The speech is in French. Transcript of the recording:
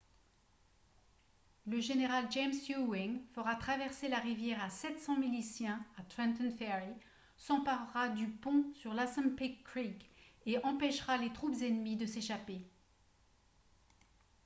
le général james ewing fera traverser la rivière à 700 miliciens à trenton ferry s'emparera du pont sur l'assunpink creek et empêchera les troupes ennemies de s'échapper